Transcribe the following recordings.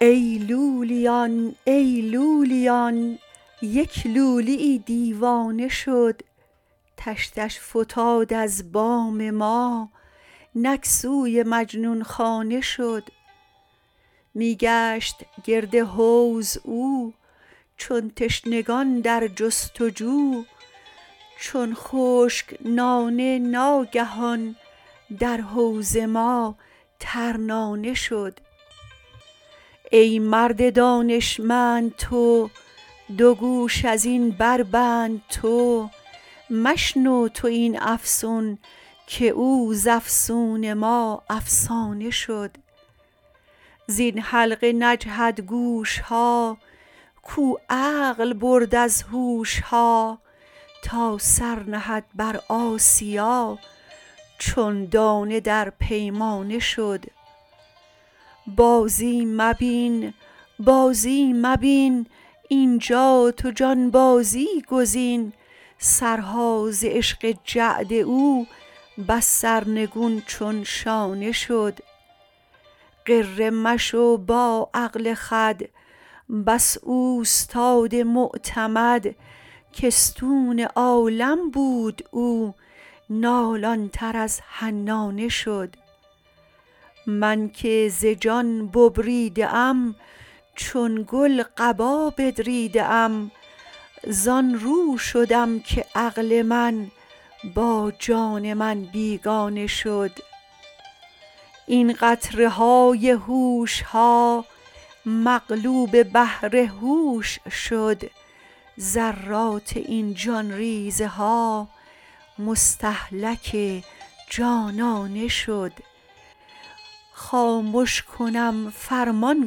ای لولیان ای لولیان یک لولی یی دیوانه شد تشتش فتاد از بام ما نک سوی مجنون خانه شد می گشت گرد حوض او چون تشنگان در جست و جو چون خشک نانه ناگهان در حوض ما ترنانه شد ای مرد دانشمند تو دو گوش از این بربند تو مشنو تو این افسون که او ز افسون ما افسانه شد زین حلقه نجهد گوش ها کاو عقل برد از هوش ها تا سر نهد بر آسیا چون دانه در پیمانه شد بازی مبین بازی مبین اینجا تو جانبازی گزین سرها ز عشق جعد او بس سرنگون چون شانه شد غره مشو با عقل خود بس اوستاد معتمد که استون عالم بود او نالان تر از حنانه شد من که ز جان ببریده ام چون گل قبا بدریده ام زان رو شدم که عقل من با جان من بیگانه شد این قطره های هوش ها مغلوب بحر هوش شد ذرات این جان ریزه ها مستهلک جانانه شد خامش کنم فرمان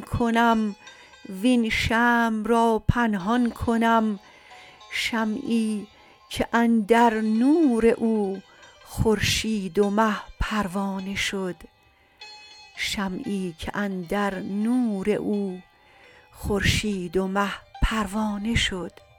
کنم وین شمع را پنهان کنم شمعی که اندر نور او خورشید و مه پروانه شد